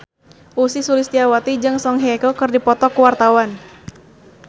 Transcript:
Ussy Sulistyawati jeung Song Hye Kyo keur dipoto ku wartawan